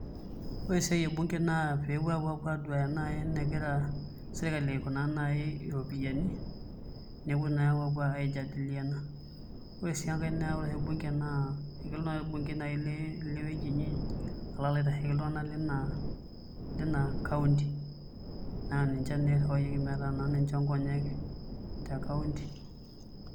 Ore esiae e bunge na a peepuo apu aduaya enegira serkali aikunaa nai ropiani nepuo nai apu aijadiliana ore sii enkae naa ore bunge naa ore nai olbungei Le lewueji inyi alo aitasheliki iltungana Nina kaunti naa ninche naa irriwayieki pee ninche inkolonyek tekaunti .